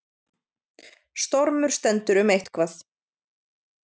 Stormur stendur um eitthvað